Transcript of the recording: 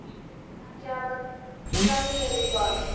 Ekki af Gallerí Borg.